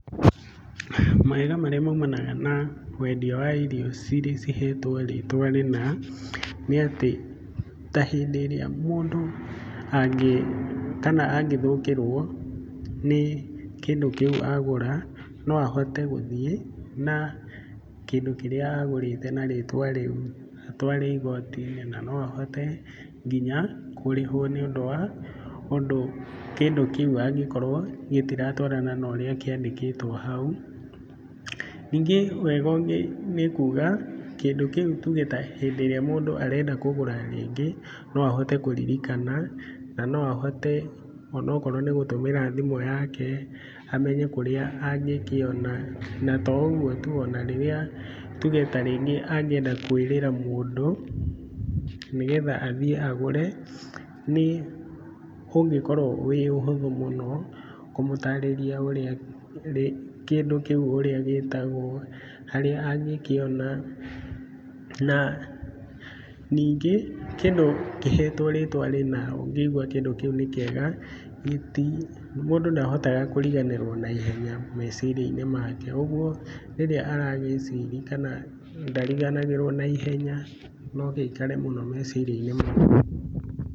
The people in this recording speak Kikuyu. Mawega marĩa maumanaga na wendia wa irio ciria cihetwo rĩtwa rĩna, nĩ atĩ ta hĩndĩ ĩrĩa mũndũ kana angĩthũkĩrwo nĩ kĩndũ kĩu agũra no ahote gũthiĩ na kĩndũ kĩrĩa agũrĩte na rĩtwa rĩu atware igoti-inĩ na no ahote nginya kũrĩhwo nĩ ũndũ kĩndũ kĩu angĩkorwo gitiratwarana na ũrĩa kĩandĩkĩtwo hau, ningĩ wega ũngĩ nĩ kuga kĩndũ kĩu tuge ta hĩndĩ ĩrĩa mũndũ arenda kũgũra rĩngĩ no ahote kũririkana, na no ahote onakorwo nĩ gũtũmĩra thimũ yake amenye kũrĩa angĩkiona na to ũguo tu ona rĩrĩa tuge tarĩngĩ angĩenda kwĩrĩra mũndũ nĩgetha athiĩ agũre nĩ ũngĩkorwo wi ũhũthũ mũno kũmũtarĩria ũrĩa kĩndũ kĩu ũrĩa gĩtagwo, harĩa angĩkiona, na ningĩ kĩndũ kĩhetwo rĩtwa rĩna ũngĩigwa kĩndũ kĩu nĩ kiega, mũndũ ndahotaga kũriganĩrwo na ihenya meciria-inĩ make, ũguo rĩrĩa aragĩciri, kana ndariganagĩrwo na ihenya no gĩikare mũno meciria-inĩ make.